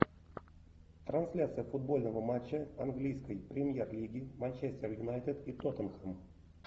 трансляция футбольного матча английской премьер лиги манчестер юнайтед и тоттенхэм